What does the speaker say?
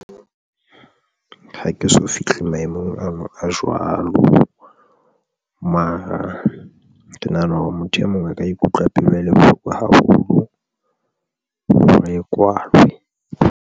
Ha ke so fihle maemong ano a jwalo, mara ke nahana hore motho e mong a ka ikutlwa pelo e le bohlokwa haholo hore e kwalwe.